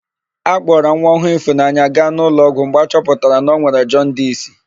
A kpọrọ nwa ọhụụ Ịfụnanya gaa n'ụlọọgwụ mgbe a chọpụtara na o nwere jọndisi.